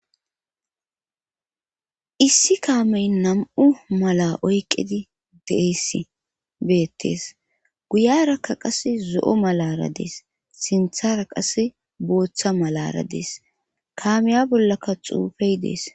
issi kaamey nam'u mala oyqedi deesi beettees guyarakka qase zo'o malara dees sinthara qase booththa malara dees kaamiya bollaka xuufey dees